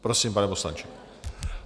Prosím, pane poslanče.